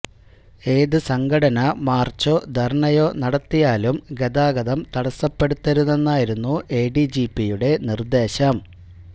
ഏത് സംഘടന മാര്ച്ചോ ധര്ണയോ നടത്തിയാലും ഗതാഗതം തടസ്സപ്പെടുത്തരുതെന്നായിരുന്നു എ ഡി ജി പിയുടെ നിര്ദേശം